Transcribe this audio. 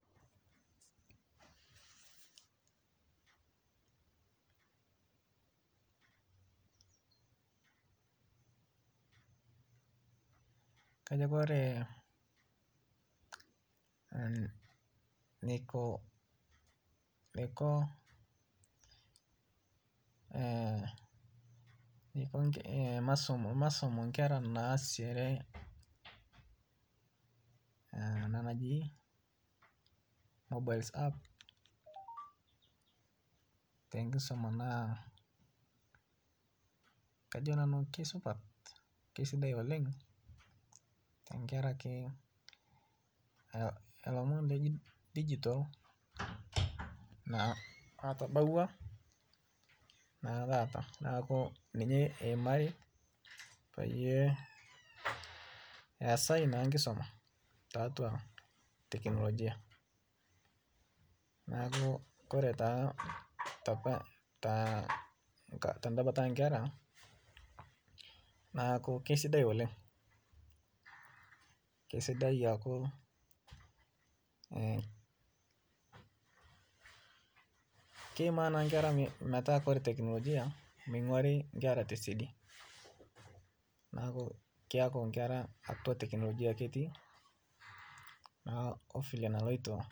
Kajo Kore neko masomo nkera naasishere ana naji mobail ap tenkisuma naa kajo nanu keisupat keisidai woleng tankaraki elomon ledigital natabaua naatata naaku ninye eimari payie esai naa nkisuma tatwa teknologia naaku Kore tata tedabata enkera naaku keisidai oleng aaku keimaa nankera metaa Kore teknologia meing'wari nkera tesedi, naaku keaku nkera atua teknologia ake etii ovile nalotio.